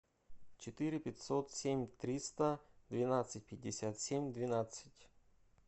четыре пятьсот семь триста двенадцать пятьдесят семь двенадцать